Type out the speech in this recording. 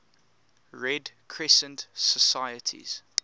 red crescent societies